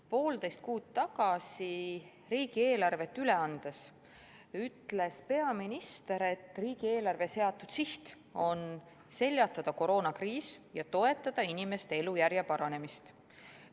Poolteist kuud tagasi riigieelarvet üle andes ütles peaminister, et riigieelarve seatud siht on seljatada koroonakriis ja toetada inimeste elujärje paranemist.